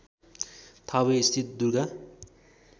थावे स्थित दुर्गा